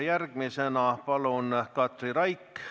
Järgmisena palun Katri Raik!